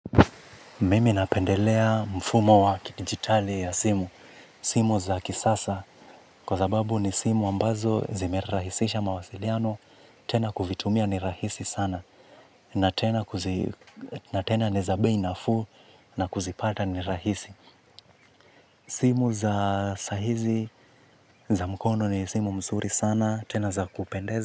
Mimi napendelea mfumo wa kidigitali ya simu. Simu za kisasa. Kwa sababu ni simu ambazo zimerahisisha mawasiliano. Tena kuvitumia ni rahisi sana. Na tena ni za bei nafuu na kuzipata ni rahisi. Simu za sahizi za mkono ni simu mzuri sana. Tena za kupendeza.